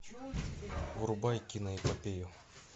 врубай киноэпопею